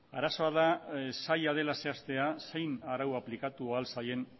arazoa da zaila dela zehaztea zein arau aplikatu ahal zaien